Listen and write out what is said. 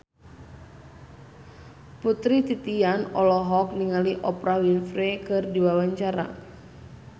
Putri Titian olohok ningali Oprah Winfrey keur diwawancara